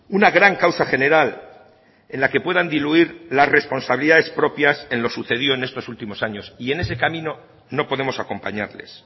una gran causa general en la que puedan diluir las responsabilidades propias en lo sucedido en estos últimos años y en ese camino no podemos acompañarles